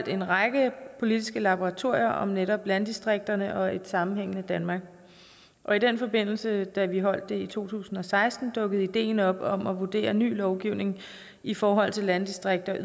en række politiske laboratorier om netop landdistrikterne og et sammenhængende danmark og i den forbindelse da vi holdt det i to tusind og seksten dukkede ideen op om at vurdere ny lovgivning i forhold til landdistrikterne